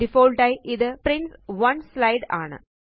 default ആയി ഇത് prints 1 slide ആണ്